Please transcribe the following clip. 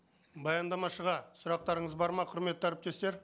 баяндамашыға сұрақтарыңыз бар ма құрметті әріптестер